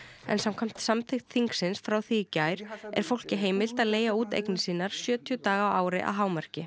en samkvæmt samþykkt þingsins frá því í gær er fólki heimilt að leigja út eignir sínar sjötíu daga á ári að hámarki